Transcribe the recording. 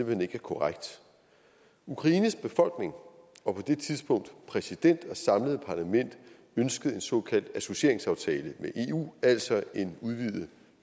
hen ikke er korrekt ukraines befolkning og på det tidspunkt præsident og samlede parlament ønskede en såkaldt associeringsaftale med eu altså en udvidet